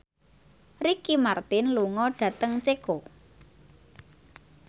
Ricky Martin lunga dhateng Ceko